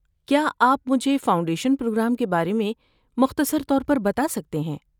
کیا آپ مجھے فاؤنڈیشن پروگرام کے بارے میں مختصر طور پر بتا سکتے ہیں؟